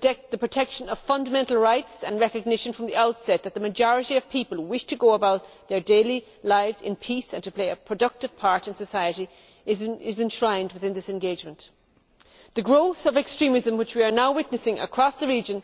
The protection of fundamental rights and recognition from the outset that the majority of people wish to go about their daily lives in peace and to play a productive part in society is enshrined within this engagement. The growth of extremism which we are now witnessing across the reign